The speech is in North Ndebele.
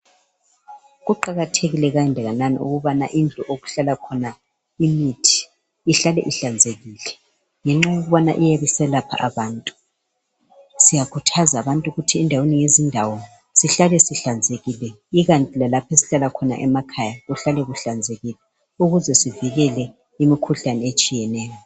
Kuqakathekille kanganani ukubana thi indlu okuhllala khona imithi ihlale ihlanzekile, ngenxa yokuba iyabe iselapha abantu. Siyakhuthaza abantu ukuthi endaweni ngezindawo sihlale sihlanzekile. Ikanti lalapho esihlala khona emakhaya, sihlale kuhlanzekile. Ukuze sivikele, imikhuhlane etshiyeneyo.